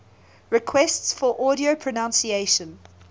requests for audio pronunciation